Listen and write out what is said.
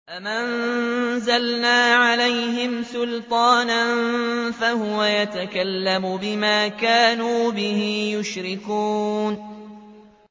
أَمْ أَنزَلْنَا عَلَيْهِمْ سُلْطَانًا فَهُوَ يَتَكَلَّمُ بِمَا كَانُوا بِهِ يُشْرِكُونَ